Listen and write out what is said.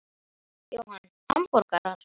Jóhann: Hamborgara?